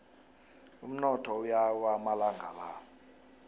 umnotho uyawa amalanga la